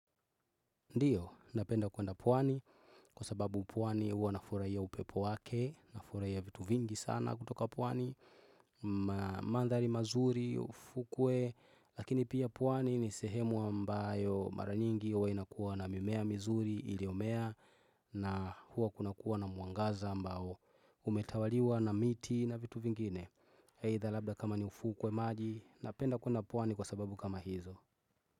Ndiyo, napenda kwenda pwani kwa sababu pwani huwa nafurahia upepo wake, nafurahia vitu vingi sana kutoka pwani, mandhari mazuri, ufukwe, lakini pia pwani ni sehemu ambayo mara nyingi huwa inakuwa na mimea mizuri iliyomea na huwa kunakuwa na mwangaza ambao umetawaliwa na miti na vitu vingine. Aidha labda kama ni ufukwe maji, napenda kwenda pwani kwa sababu kama hizo.